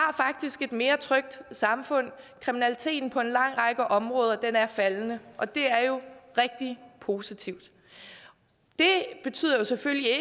et mere trygt samfund kriminaliteten på en lang række områder er faldende og det er jo rigtig positivt det betyder jo selvfølgelig